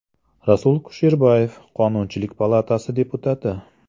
Rasul Kusherbayev, Qonunchilik palatasi deputati.